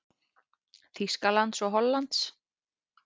Þýskalands og Hollands.